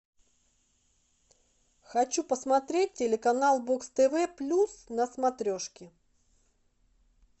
хочу посмотреть телеканал бокс тв плюс на смотрешке